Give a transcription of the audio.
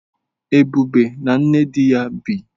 Ebube na nne di ya bi.